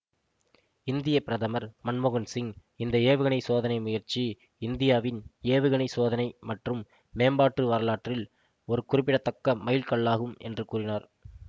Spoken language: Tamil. இந்திய பிரதமர் மன்மோகன்சிங் இந்த ஏவுகணை சோதனை முயற்சி இந்தியாவின் ஏவுகணை சோதனை மற்றும் மேம்பாட்டு வரலாற்றில் ஒரு குறிப்பிடத்தக்க மைல்கல்லாகும் என்று கூறியுனார்